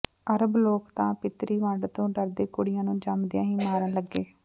ਅਰਬ ਲੋਕ ਤਾਂ ਪਿਤਰੀ ਵੰਡ ਤੋਂ ਡਰਦੇ ਕੁੜੀਆਂ ਨੂੰ ਜੰਮਦਿਆਂ ਹੀ ਮਾਰਨ ਲੱਗੇ